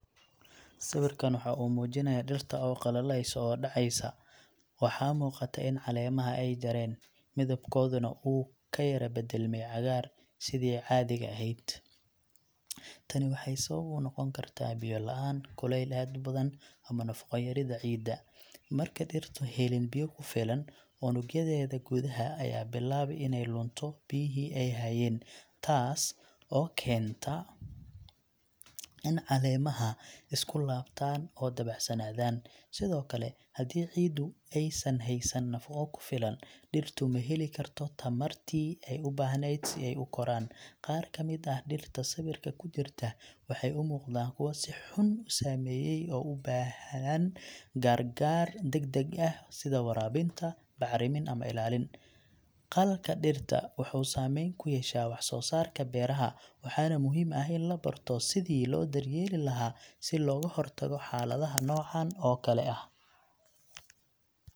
Sawirkaan waxa uu muujinayaa dhirta oo qalalayso oo dhacaysa. Waxaa muuqata in caleemaha ay jareen, midabkooduna uu ka yara beddelmay cagaar sidii caadiga ahayd. Tani waxay sabab u noqon kartaa biyo la'aan, kuleyl aad u badan, ama nafaqo yarida ciidda. Marka dhirtu helin biyo ku filan, unugyadeeda gudaha ayaa bilaabi inay lunto biyihii ay hayeen, taas oo keenta in caleemaha isku laabtaan oo dabacsanaadaan. Sidoo kale, haddii ciiddu aysan haysan nafaqo ku filan, dhirtu ma heli karto tamartii ay u baahnayd si ay u koraan. Qaar ka mid ah dhirta sawirka ku jirta waxay umuuqdaan kuwa si xun u saameeyay oo u baahan gargaar degdeg ah sida waraabinta, bacrimin ama ilaalin. Qalalka dhirta waxuu saameyn ku yeeshaa wax-soosaarka beeraha, waxaana muhiim ah in la barto sida loo daryeeli lahaa si looga hortago xaaladaha noocan oo kale ah.